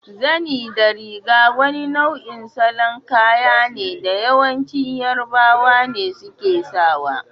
Zani da riga wani nau'in salo kaya ne da yawanci yarobawa ne suke sawa.